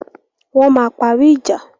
Wọ́n máa parí ìja.